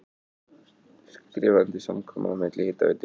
Skrifað undir samkomulag milli Hitaveitu